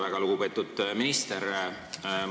Väga lugupeetud minister!